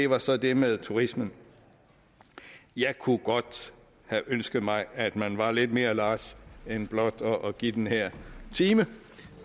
var så det med turismen jeg kunne godt have ønsket mig at man var lidt mere large end blot at give den her time